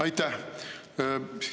Aitäh!